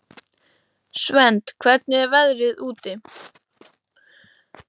Svend, hvernig er veðrið úti?